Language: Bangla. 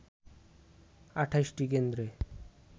২৮টি কেন্দ্রে